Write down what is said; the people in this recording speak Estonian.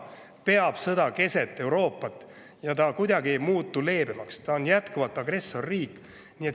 peab sõda keset Euroopat ja ta ei muutu kuidagi leebemaks, ta on jätkuvalt agressorriik.